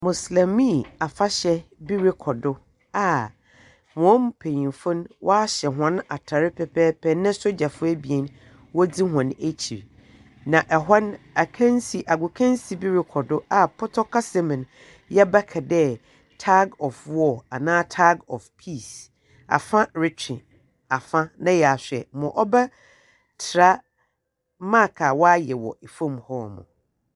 Mosulemi afahyɛ bi rekɔ do, a hɔn mpenyinfo no waahyɛ hɔn atar pɛpɛɛpɛ na sogyafo ebien wɔdzi hɔn ekyir. Na ɛhɔ no, akansi agokansi bi rekɔ do, a pɔtɔ kasa mu no, yɛbɛka dɛ tag of war anaa tag of peace. Afa retwe afa na wɔahwɛ ma wɔbɛtra mark a wɔayɛ wɔ famu hɔ no.